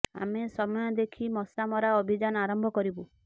ଆମେ ସମୟ ଦେଖି ମଶା ମରା ଅଭିଯାନ ଆରମ୍ଭ କରିବୁ